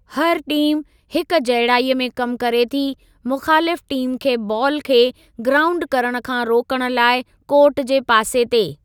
हर टीम हिकजहिड़ाई में कमु करे थी मुख़ालिफ़ु टीम खे बालु खे ग्राऊंड करणु खां रोकणु लाइ कोर्ट जे पासे ते।